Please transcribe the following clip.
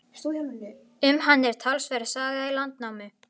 Um hann er talsverð saga í Landnámu.